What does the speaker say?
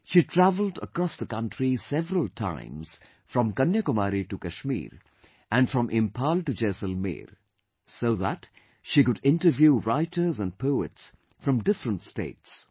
She travelled across the country several times, from Kanyakumari to Kashmir and from Imphal to Jaisalmer, so that she could interview writers and poets from different states